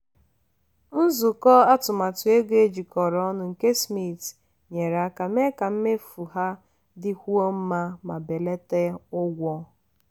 nzukọ atụmatụ ego ejikọrọ ọnụ nke smith nyere aka mee ka mmefu ha dịkwuo mma ma belata ụgwọ.